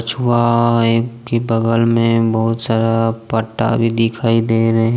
कछुए के बगल में बहुत सारा फटा भी दिखाई दे रहे--